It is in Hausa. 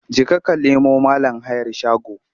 Jeka ka nemo mIn hayar shago!